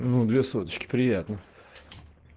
ну две соточки приятно